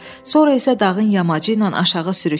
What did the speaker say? Sonra isə dağın yamacı ilə aşağı sürüklədi.